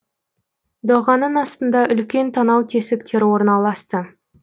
доғаның астында үлкен танау тесіктері орналасты